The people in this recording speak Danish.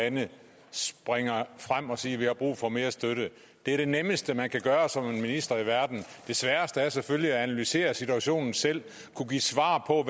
lande springer frem og siger at de har brug for mere støtte det er det nemmeste man kan gøre som minister det sværeste er selvfølgelig at analysere situationen selv kunne give svar på